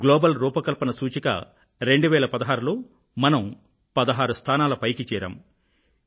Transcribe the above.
global రూపకల్పన సూచిక 2016 లో మనం 16 స్థానాల పైకి చేరాం